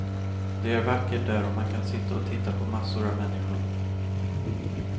Det är vackert där och man kan sitta och titta på massor av människor.